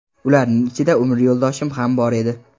Ularning ichida umr yo‘ldoshim ham bor edi.